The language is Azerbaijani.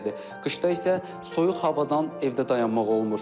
Qışda isə soyuq havadan evdə dayanmaq olmur.